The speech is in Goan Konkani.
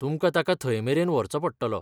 तुमकां ताका थंयमेरेन व्हरचो पडटलो.